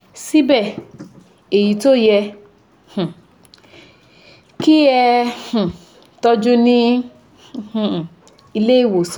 Síbẹ̀, èyí tí ó yẹ um kí e um tọ́jú ní um ilé ìwòsàn